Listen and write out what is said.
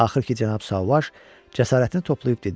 Axır ki, Cənab Sauvage cəsarətini toplayıb dedi: